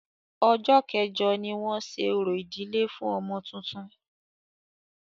Ọjọ́ kẹ́jọ ní wọn ṣe orò ìdílé fún ọmọ tuntun.